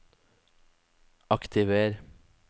aktiver